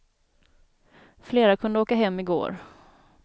Flera kunde åka hem i går.